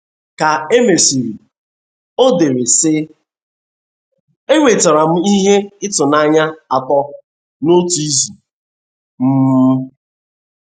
Ka e mesịrị, o dere, sị: “ Enwetara m ihe ịtụnanya atọ n’otu izu um.